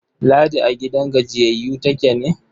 Ladi a gidan gajiyayyu take ne?